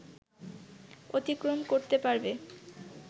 অতিক্রম করতে পারবে